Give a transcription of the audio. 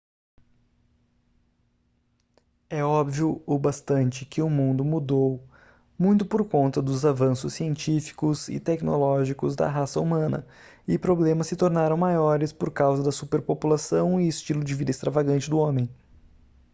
é óbvio o bastante que o mundo mudou muito por conta dos avanços científicos e tecnológicos da raça humana e problemas se tornaram maiores por causa da superpopulação e estilo de vida extravagante do homem